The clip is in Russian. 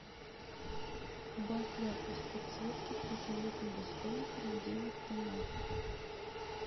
убавь яркость подсветки у туалетного столика на девять тонов